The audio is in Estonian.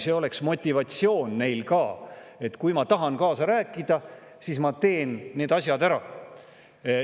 See oleks ka nende motivatsioon: kui nad tahavad kaasa rääkida, siis nad teevad need asjad ära.